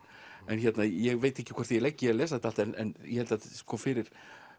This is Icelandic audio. ég veit ekki hvort ég legg í að lesa þetta allt en ég held fyrir